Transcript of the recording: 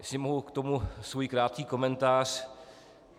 Jestli mohu k tomu svůj krátký komentář.